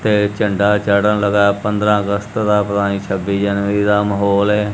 ਤੇ ਝੰਡਾਂ ਚਾੜ੍ਹਨ ਲਗਾ ਪੰਦਰਾਂ ਅਗਸਤ ਦਾ ਪਤਾ ਨੀ ਛੱਬੀ ਜਨਵਰੀ ਦਾ ਮਾਹੌਲ ਹੈ।